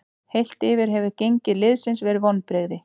Heilt yfir hefur gengi liðsins verið vonbrigði.